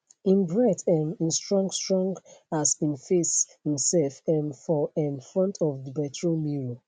im breath um in strong strong as im face imself um for um front of the bedroom mirror